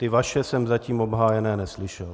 Ty vaše jsem zatím obhájeny neslyšel.